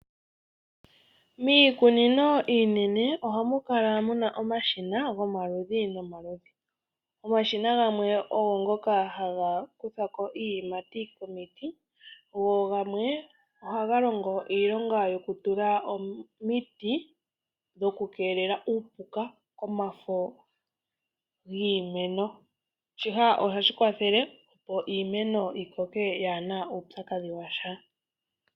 Miikunino iinene ohamu kala muna omashina gomaludhi nomaludhi. Omashina gamwe ogo ngoka haga kutha ko iiyimati komiti, go gamwe ohaga longo iilonga yokutula omiti dhokukeelela uupuka komafo giimeno. Shika ohashi kwathele opo iimeno yi koke yaahena uupyakadhi wa sha.